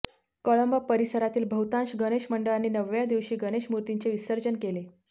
कळंबा परिसरातील बहुतांश गणेश मंडळांनी नवव्या दिवशी गणेशमूर्तींचे विसर्जंन केले